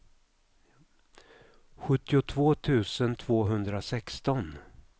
sjuttiotvå tusen tvåhundrasexton